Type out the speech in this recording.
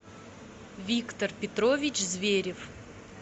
виктор петрович зверев